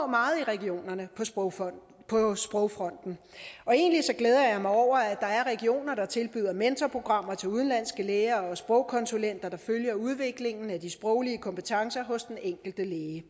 meget i regionerne på sprogfronten og sprogfronten og egentlig glæder jeg mig over at der er regioner der tilbyder mentorprogrammer til udenlandske læger og sprogkonsulenter der følger udviklingen af de sproglige kompetencer hos den enkelte læge